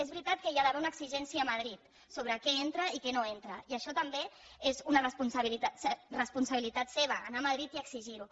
és veritat que hi ha d’haver una exigència a madrid sobre què entra i què no entra i això també és una responsabilitat seva anar a madrid i exigir ho